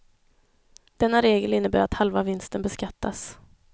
Denna regel innebär att halva vinsten beskattas.